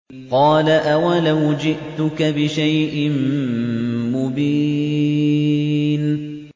قَالَ أَوَلَوْ جِئْتُكَ بِشَيْءٍ مُّبِينٍ